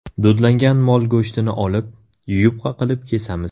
Dudlangan mol go‘shtini olib, yupqa qilib kesamiz.